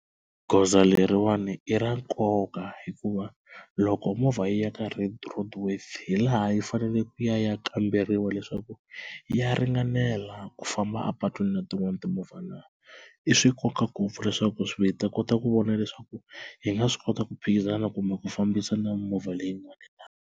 Goza leriwani i ra nkoka hikuva loko movha yi ya ka red roadworthy hi laha yi fanele ku ya kamberiwa leswaku ya ringanela ku famba a patwini na tin'wana timovha na, i swa nkoka ngopfu leswaku swi vheta hi ta kota ku vona leswaku hi nga swi kota ku phikizana kumbe ku fambisa na mimovha leyin'wani.